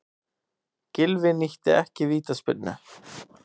Gylfi nýtti ekki vítaspyrnu